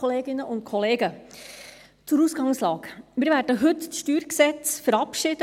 Zur Ausgangslage: Wir werden heute oder morgen das StG verabschieden.